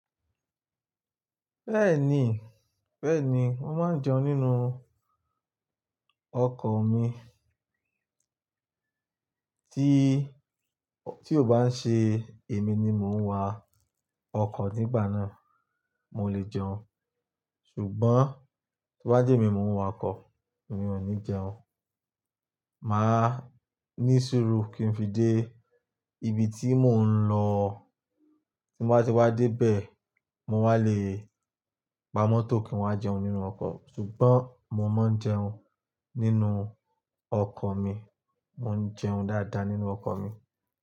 Bẹ́ẹ̀ni, bẹ́ẹ̀ni, mo máa ń jẹun nínú ọkọ̀ mi. Tí, tí ó bá ń ṣe èmi ni mò ń wa ọkọ̀ nígbà náà, mo lè jẹun. Ṣùgbọ́n tí wọ́n bá jé mi, mo ń wa ọkọ̀, èmi ò ní jẹun. Máa ní sùúrù kí n fi dé ibi tí mò ń lọ. Tí mo bá ti wá dé bẹ̀, mo wá lè gba mọ́tò kí wọ́n máa jẹun nínú ọkọ̀. Ṣùgbọ́n mo máa ń jẹun nínú ọkọ̀ mi, mò ń jẹun dáadáa nínú ọkọ̀ mi.